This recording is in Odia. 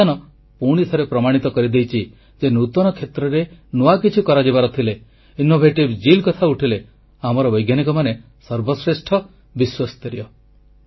ଏହି ଅଭିଯାନ ପୁଣିଥରେ ପ୍ରମାଣିତ କରିଦେଇଛି ଯେ ନୂତନ କ୍ଷେତ୍ରରେ ନୂଆ କିଛି କରିଯିବାର ଥିଲେ ଆମର ବୈଜ୍ଞାନିକମାନେ ସର୍ବଶ୍ରେଷ୍ଠ ବିଶ୍ୱସ୍ତରୀୟ